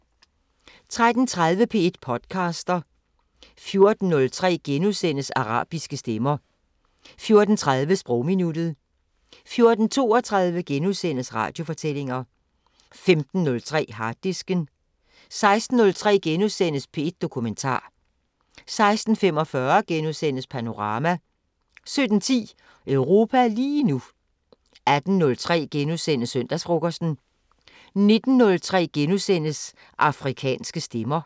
13:30: P1 podcaster 14:03: Arabiske stemmer * 14:30: Sprogminuttet 14:32: Radiofortællinger * 15:03: Harddisken * 16:03: P1 Dokumentar * 16:45: Panorama * 17:10: Europa lige nu 18:03: Søndagsfrokosten * 19:03: Afrikanske Stemmer *